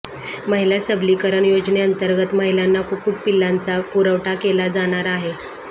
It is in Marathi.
महिला सबलीकरण योजनेंतर्गत महिलांना कुक्कुट पिलांचा पुरवठा केला जाणार आहे